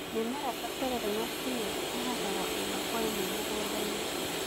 Mĩmera ta terere na spinanji ĩhandagwo ĩmwe kwa ĩmwe mũgũnda-inĩ.